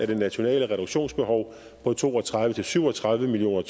det nationale reduktionsbehov på to og tredive til syv og tredive million